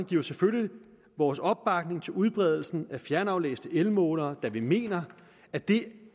giver selvfølgelig vores opbakning til udbredelsen af fjernaflæste elmålere da vi mener at det